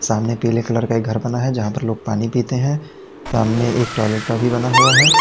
सामने पीले कलर का एक घर बना है जहाँ पर लोग पानी पीते हैं सामने एक टॉयलेट का भी बना हुआ है।